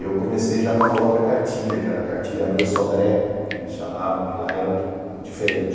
Eu comecei já com uma outra cartilha, que era a Cartilha Abreu Sodré, que eles chamavam, que lá era diferente.